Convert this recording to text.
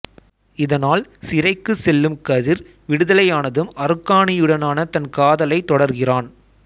இதனால் சிறைக்கு செல்லும் கதிர் விடுதலையானதும் அருக்காணியுடனானத் தன் காதலைத் தொடர்கிறான்